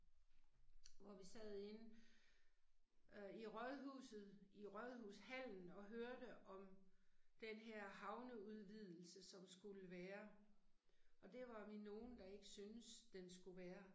Hvor vi sad inde øh i rådhuset i rådhushallen og hørte om den her havneudvidelse som skulle være og det var vi nogen, der ikke synes den skulle være